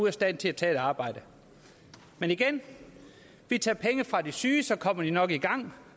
af stand til at tage et arbejde men igen vi tager penge fra de syge så kommer de nok i gang